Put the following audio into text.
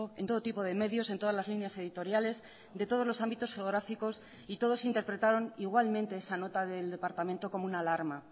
en todo tipo de medios en todas las líneas editoriales de todos los ámbitos geográficos y todos interpretaron igualmente esa nota del departamento como una alarma